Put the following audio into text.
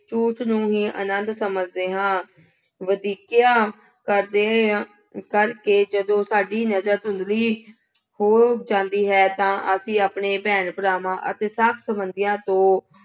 ਝੂਠ ਨੂੰ ਹੀ ਆਨੰਦ ਸਮਝਦੇ ਹਾਂ। ਵਧੀਕੀਆਂ ਕਰਦੇ ਰਹੇ ਹਾਂ, ਕਰਕੇ ਜਦੋਂ ਸਾਡੀ ਨਜ਼ਰ ਧੁੰਦਲੀ ਹੋ ਜਾਂਦੀ ਹੈ ਤਾਂ ਅਸੀਂ ਆਪਣੇ ਭੈਣ ਭਰਾਵਾਂ ਅਤੇ ਸਾਕ-ਸੰਬੰਧੀਆਂ ਤੋਂ